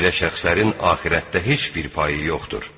Belə şəxslərin axirətdə heç bir payı yoxdur.